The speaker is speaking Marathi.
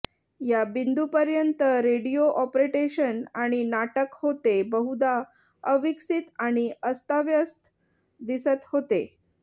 या बिंदूपर्यंत रेडिओ अॅप्रेटेशन आणि नाटक होते बहुधा अविकसित आणि अस्ताव्यस्त दिसत होते